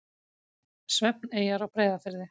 Svefneyjar á Breiðafirði.